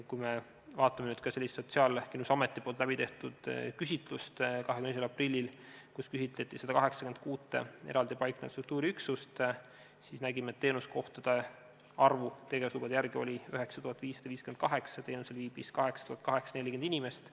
Kui me vaatame Sotsiaalkindlustusameti 22. aprillil tehtud küsitlust, kus küsitleti 186 eraldi paiknevat struktuuriüksust, siis nägime, et teenuskohtade arv tegevuslubade järgi oli 9558, teenusel viibis 8840 inimest.